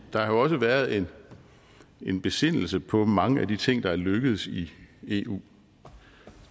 der har jo også været en besindelse på mange af de ting der er lykkedes i eu